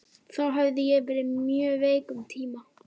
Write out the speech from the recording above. Þá hafði ég verið mjög veik um tíma.